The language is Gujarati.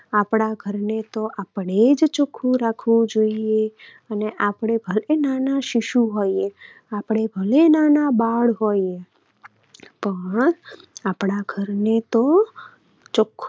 આપણા ઘરને તો આપણે જ ચોખ્ખું રાખવું જોઈએ અને આપણે ભલે નાના શિશુ હોઈએ, આપણે ભલે નાના બાળ હોઈએ પણ આપણા ઘરને તો આપણે જ ચોખ્ખું